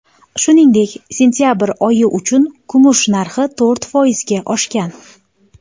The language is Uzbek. Shuningdek, sentabr oyi uchun kumush narxi to‘rt foizga oshgan.